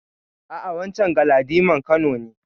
A'a, wancen Galadiman Kano ne.